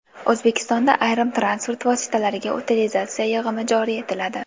O‘zbekistonda ayrim transport vositalariga utilizatsiya yig‘imi joriy etiladi.